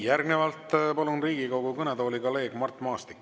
Järgnevalt palun Riigikogu kõnetooli kolleeg Mart Maastiku.